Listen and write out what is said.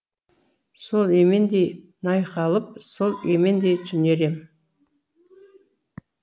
сол емендей найқалып сол емендей түнерем